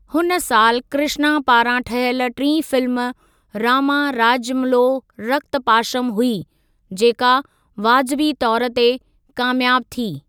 हुन साल कृष्णा पारां ठहियल टीं फिल्म ‘रामा राज्यम्लो रक्तपाशम’ हुई, जेका वाज़बी तौरु ते कामियाबु थी।